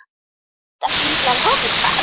Geta fílar hoppað?